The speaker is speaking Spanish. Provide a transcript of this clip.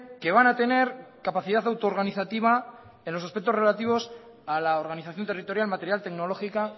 que van a tener capacidad autoorganizativa en los aspectos relativos a la organización territorial material tecnológica